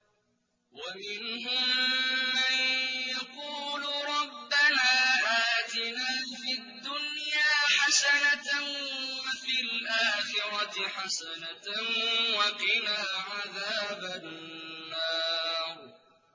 وَمِنْهُم مَّن يَقُولُ رَبَّنَا آتِنَا فِي الدُّنْيَا حَسَنَةً وَفِي الْآخِرَةِ حَسَنَةً وَقِنَا عَذَابَ النَّارِ